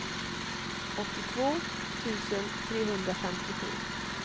åttiotvå tusen trehundrafemtiosju